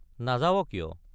নাযাৱ কিয়?